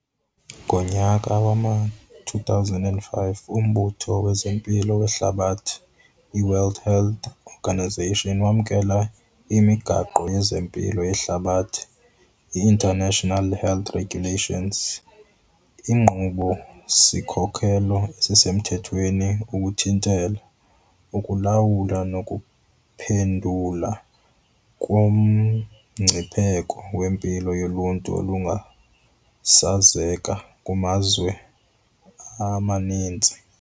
Ngonyaka wama-2005, uMbutho wezeMpilo weHlabathi, iWorld Health Organisation, wamkela iMigaqo yezeMpilo yeHlabathi, International Health Regulations, inkqubo-sikhokelo esemthethweni ukuthintela, ukulawula nokuphendula kumngcipheko wempilo yoluntu olungasasazeka kumazwe amaninzi.